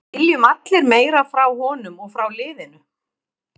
Við viljum allir meira frá honum og frá liðinu.